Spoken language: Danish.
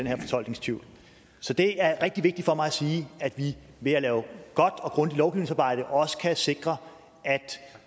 her fortolkningstvivl så det er rigtig vigtigt for mig at sige at vi ved at lave godt og grundigt lovgivningsarbejde også kan sikre at